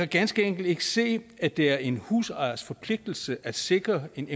ganske enkelt ikke se at det er en husejers forpligtelse at sikre en